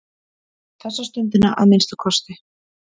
Þessa stundina að minnsta kosti.